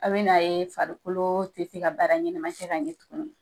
A bena ye farikolo te se ka baara ɲɛnɛma kɛ ka ɲɛ tuguni